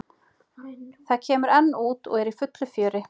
Það kemur enn út og er í fullu fjöri.